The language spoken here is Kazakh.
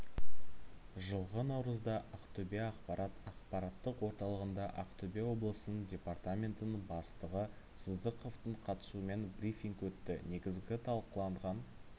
жылғы наурызда ақтөбе ақпарат ақпараттық орталығында ақтөбе облысының департаментінің бастығы сыздықовтың қатысуымен брифинг өтті негізгі талқыланған